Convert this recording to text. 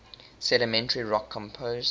sedimentary rock composed